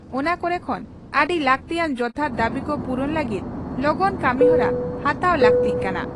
ᱚᱱᱟ ᱠᱚᱨᱮ ᱠᱷᱚᱱ ᱟᱹᱰᱤ ᱞᱟᱠᱛᱤᱭᱟᱱ ᱡᱚᱛᱷᱟᱛ ᱫᱟᱹᱵᱤ ᱠᱚ ᱯᱩᱨᱩᱱ ᱞᱟᱹᱜᱤᱫ ᱞᱚᱜᱚᱱ ᱠᱟᱹᱢᱤᱦᱚᱨᱟ ᱦᱟᱛᱟᱣ ᱞᱟᱹᱜᱛᱤᱜ ᱠᱟᱱᱟ ᱾